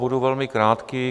Budu velmi krátký.